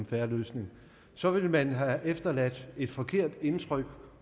fair løsning så vil man have efterladt et forkert indtryk